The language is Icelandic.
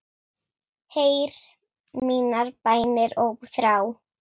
Heyr mínar bænir og þrá.